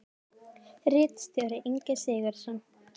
Ritstjóri Ingi Sigurðsson.